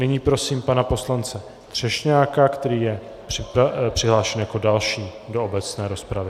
Nyní prosím pana poslance Třešňáka, který je přihlášen jako další do obecné rozpravy.